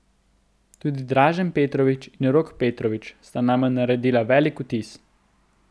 Tudi Dražen Petrović in Rok Petrović sta name naredila velik vtis.